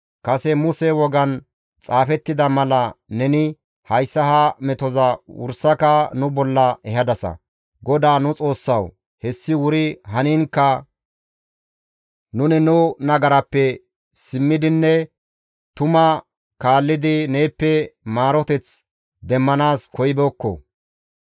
Kase Muse wogan xaafettida mala neni hayssa ha metoza wursaka nu bolla ehadasa; GODAA nu Xoossawu! Hessi wuri haniinkka nuni nu nagarappe simmidinne tumaa kaallidi neeppe maaroteth demmanaas koyibeekko.